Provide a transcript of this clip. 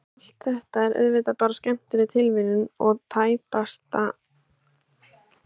En allt þetta er auðvitað bara skemmtileg tilviljun og tæpast ástæðan fyrir tilvist undirskála.